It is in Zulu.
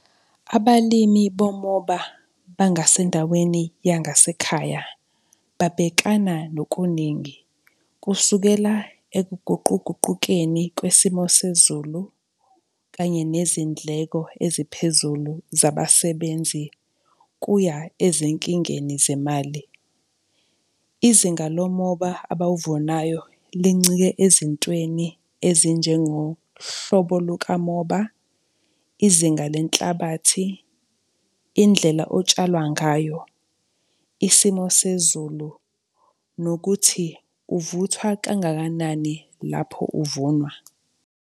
Abalimi bomoba bangasendaweni yangasekhaya babhekana nokuningi, kusukela ekuguquguqukeni kwesimo sezulu kanye nezindleko eziphezulu zabasebenzi kuya ezinkingeni zemali. Izinga lomoba abawuvunayo lincike ezintweni ezinjengohlobo luka moba, izinga lenhlabathi, indlela otshalwa ngayo, isimo sezulu nokuthi uvuthwa kangakanani lapho uvunwa.